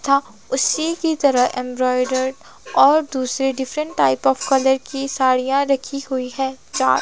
था उसी की तरह एंब्रॉयडर और दूसरे डिफरेंट टाइप ऑफ कलर की साड़ियां रखी हुई हैं चा--